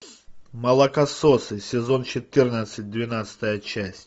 молокососы сезон четырнадцать двенадцатая часть